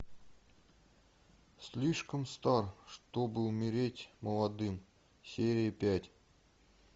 слишком стар чтобы умереть молодым серия пять